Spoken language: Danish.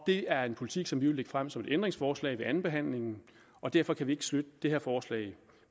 det er en politik som vi vil lægge frem som et ændringsforslag ved andenbehandlingen og derfor kan vi ikke støtte det her forslag